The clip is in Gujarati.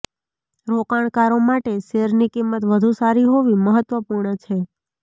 રોકાણકારો માટે શેરની કિંમત વધુ સારી હોવી મહત્વપૂર્ણ છે